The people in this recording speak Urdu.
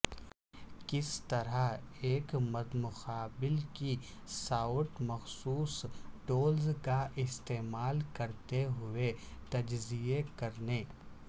کس طرح ایک مدمقابل کی سائٹ مخصوص ٹولز کا استعمال کرتے ہوئے تجزیہ کرنے